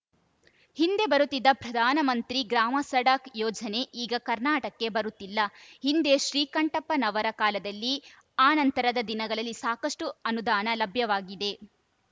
ಹಿಂದೆ ಬರುತ್ತಿದ್ದ ಪ್ರಧಾನಮಂತ್ರಿ ಗ್ರಾಮಸಡಕ್‌ ಯೋಜನೆ ಈಗ ಕರ್ನಾಟಕಕ್ಕೆ ಬರುತ್ತಿಲ್ಲ ಹಿಂದೆ ಶ್ರೀಕಂಠಪ್ಪನವರ ಕಾಲದಲ್ಲಿ ಆ ನಂತರದ ದಿನಗಳಲ್ಲಿ ಸಾಕಷ್ಟುಅನುದಾನ ಲಭ್ಯವಾಗಿದೆ